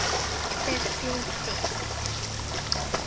Þetta er þín deild.